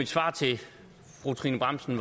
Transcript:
svar til fru trine bramsen